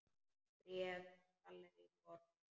Bréf frá Gallerí Borg.